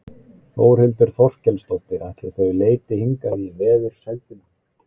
Þórhildur Þorkelsdóttir: Ætli þau leiti hingað í veðursældina?